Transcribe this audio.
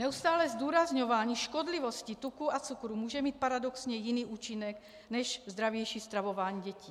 Neustálé zdůrazňování škodlivosti tuků a cukrů může mít paradoxně jiný účinek než zdravější stravování dětí.